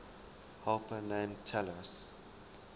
helper named talus